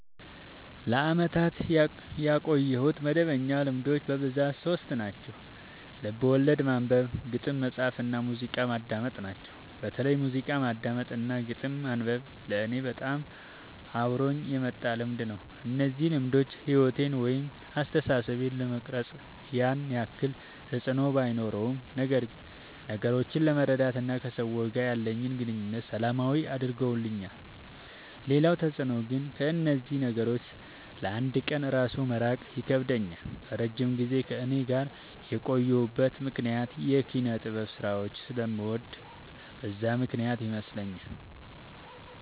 ለአመታት ያቆየሁት መደበኛ ልማዶች በብዛት ሶስት ናቸው። ልቦለድ ማንበብ፣ ግጥም መፃፍ እና ሙዚቃ ማዳመጥ ናቸው። በተለይ ሙዚቃ ማዳመጥ እና ግጥም ማንበብ ለኔ በጣም አብሮኝ የመጣ ልምድ ነው። እነዚህ ልማዶች ሕይወቴን ወይም አስተሳሰቤን ለመቅረጽ ያን ያክል ተፅዕኖ ባኖረውም ነገሮችን ለመረዳት እና ከሰዎች ጋር ያለኝን ግንኙነት ሰላማዊ አድርገውልኛል ሌላው ተፅዕኖ ግን ከእነዚህ ነገሮች ለ አንድ ቀን እራሱ መራቅ ይከብደኛል። ለረጅም ጊዜ ከእኔ ጋር የቆዩበት ምክንያት የኪነጥበብ ስራዎችን ስለምወድ በዛ ምክንያት ይመስለኛል።